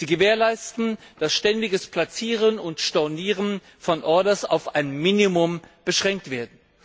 Sie gewährleisten, dass das ständige Platzieren und Stornieren von Orders auf ein Minimum beschränkt wird.